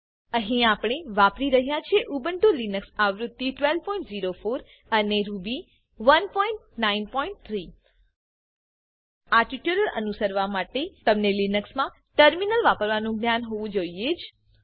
અહી આપણે વાપરી રહ્યા છે ઉબુન્ટુ લિનક્સ વર્ઝન 1204 રૂબી 193 આ ટ્યુટોરીયલ અનુસરવા તમને લિનક્સ માં ટર્મિનલ વાપરવાનો જ્ઞાન હોવું જ જોઈએ